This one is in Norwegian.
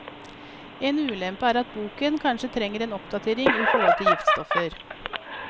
En ulempe er at boken kanskje trenger en oppdatering i forhold til giftstoffer.